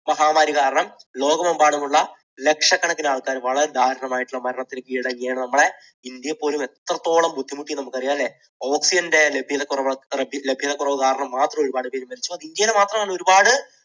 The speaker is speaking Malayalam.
മഹാമാരി കാരണം ലോകമെമ്പാടുമുള്ള ലക്ഷക്കണക്കിന് ആൾക്കാർ വളരെ ദാരുണം ആയിട്ടുള്ള മരണത്തിന് കീഴടങ്ങുകയാണ്. നമ്മുടെ ഇന്ത്യയിൽ പോലും എത്രത്തോളം ബുദ്ധിമുട്ടി എന്ന് നമുക്ക് അറിയാം അല്ലേ? oxygen ന്റെ ലഭ്യത കുറവ്, oxygen ലഭ്യത കുറവ് കാരണം മാത്രം ഒരുപാട് പേർ മരിച്ചു ഇന്ത്യയിൽ മാത്രമല്ല ഒരുപാട്